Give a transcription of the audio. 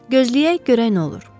Gözləyək, görək nə olur.